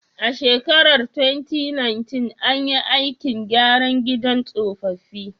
A shekarar 2019, an yi aikin gyara gidan tsofaffi.